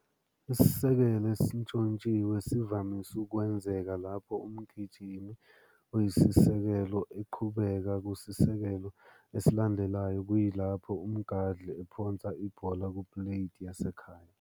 Isisekelo esintshontshiwe sivamise ukwenzeka lapho umgijimi oyisisekelo eqhubekela kusisekelo esilandelayo kuyilapho umgadli ephonsa ibhola ku- plate yasekhaya.